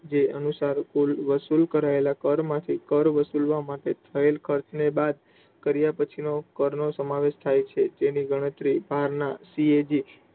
જે અનુસાર કુલ વસુલ કરાયેલા કર માંથી કર વસૂલવા માટે થયેલ ખર્ચ ને બાદ કર્યા પછી ના કર નો સમાવેશ થાય છે. તેની ગણતરી બહાર ના CAG